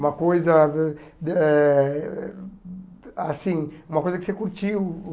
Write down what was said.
Uma coisa ãh eh assim uma coisa que você curtiu,